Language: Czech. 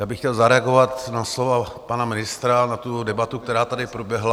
Já bych chtěl zareagovat na slova pana ministra a na debatu, která tady proběhla.